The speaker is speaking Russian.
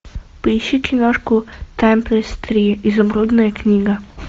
поищи киношку таймлесс три изумрудная книга